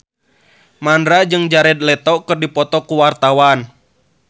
Mandra jeung Jared Leto keur dipoto ku wartawan